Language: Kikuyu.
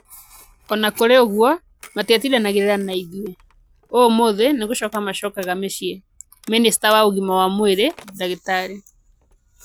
O na kũrĩ ũguo, matiatindanagĩra na ithuĩ. 'Ũũmũũthĩ nĩ gũcoka magacoka mĩciĩ,' Minista wa ũgima wa mwĩrĩ Dr.